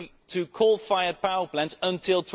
to coal fired power plants until